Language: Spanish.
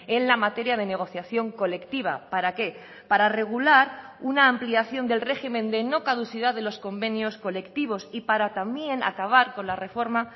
en la materia de negociación colectiva para qué para regular una ampliación del régimen de no caducidad de los convenios colectivos y para también acabar con la reforma